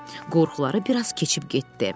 Qorxuları bir az keçib getdi.